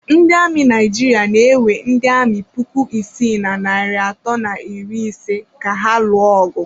Ndị amị Naijiria na-ewe ndị amị puku isii na narị atọ na iri ise ka ha lụọ ọgụ.